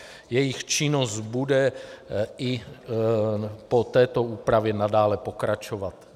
Jejich činnost bude i po této úpravě nadále pokračovat.